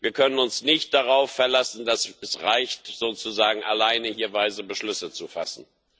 Wir können uns nicht darauf verlassen, dass es reicht, sozusagen alleine hier weise Beschlüsse zu fassen.